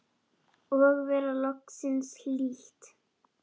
Og vera loksins hlýtt!!